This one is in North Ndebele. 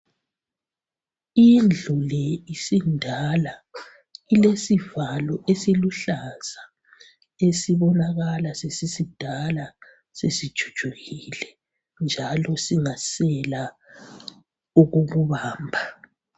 Indlu le isindala ilesivalo esiluhlaza esibonakala sesisidala sesijujukile njalo sesingasela okokubamba